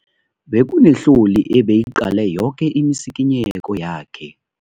Bekunehloli ebeyiqale yoke imisikinyeko yakhe.